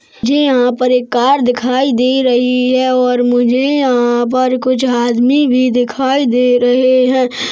मुझे यहाँ पर एक कार दिखाई दे रही है और मुझे यहाँ पर कुछ आदमी भी दिखाई दे रहे है।